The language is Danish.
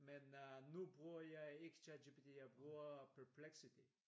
Men øh nu bruger jeg ikke ChatGPT jeg burger Perplexity